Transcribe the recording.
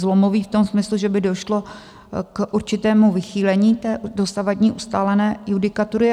Zlomový v tom smyslu, že by došlo k určitému vychýlení té dosavadní ustálené judikatury.